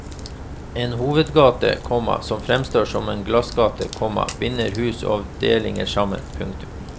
En hovedgate, komma som fremstår som en glassgate, komma binder hus og avdelinger sammen. punktum